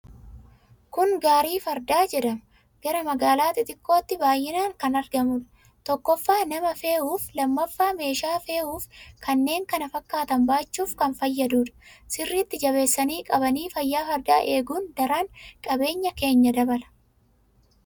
Kuni gaarii fardaa jedhama. Gara magaalaa xixiqqotti baay'inaan kan argamudha. Tokkoffa nama fe'uuf lammaffaa meeshaa fe'uufi kanneen kana fakkaatan baachuf kan fayyadhuudha. Sirritti jabeessanii qabanii fayyaa fardaa eegun daran qabeeyan keenya dabala.